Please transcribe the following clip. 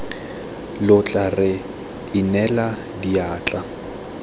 lo tla re inela diatla